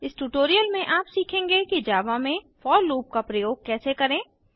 इस ट्यूटोरियल में आप सीखेंगे कि जावा में फोर लूप का प्रयोग कैसे करें160